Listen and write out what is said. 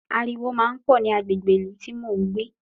Aruwo máa ń pọ̀ ní agbègbè ìlú tí mò ń gbé